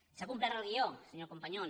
s’ha complert el guió senyor companyon